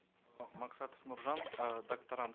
э максатов нуржан э докторант